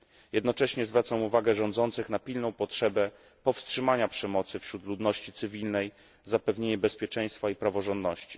Jednocześnie zwracam uwagę rządzących na pilną potrzebę powstrzymania przemocy wśród ludności cywilnej, zapewnienie bezpieczeństwa i praworządności.